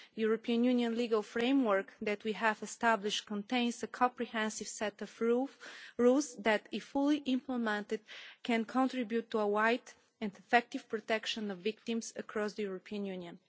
The European Union legal framework that we have established contains a comprehensive set of rules that, if fully implemented, can contribute to broad and effective protection of victims across the European Union.